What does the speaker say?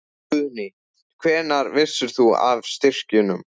Guðný: Hvenær vissir þú af styrkjunum?